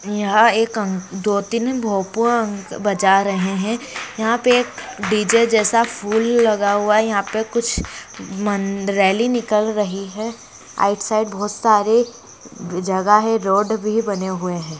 यहां एक दो-तीन भोंपू बज रहे हैं यहां पर एक डी.जे जैसा फूल लगा हुआ यहां पर कुछ रैली निकाल रही है राइट साइड बहुत सारे जगह हैरोड भी बने हुए हैं।